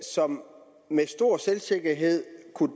som med stor selvsikkerhed